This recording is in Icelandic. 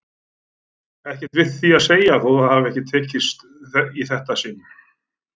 Ekkert við því að segja þótt ekki hafi það tekist í þetta sinn.